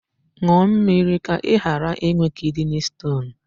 Ṅụọ mmịrị ka ị ghara ịnwe kidney stone.